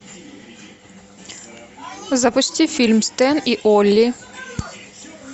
запусти фильм стэн и олли